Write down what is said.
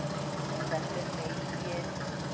Þetta er Neiið.